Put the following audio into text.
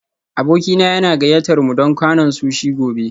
Abokina yana gayyatar mu don kwanan sushi gobe